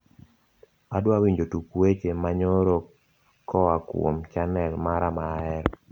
adwawinjo tuk weche ma nyoro koakuom chanel mara maahero